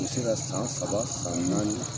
I bɛ se ka san saba san naani.